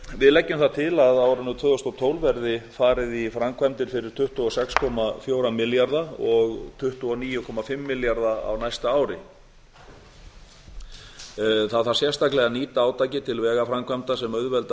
við leggjum það til að á árinu tvö þúsund og tólf verði farið í framkvæmdir fyrir tuttugu og sex komma fjóra milljarða og tuttugu og níu komma fimm milljarða á næsta ári það þarf sérstaklega að nýta átakið til vegaframkvæmda sem auðvelda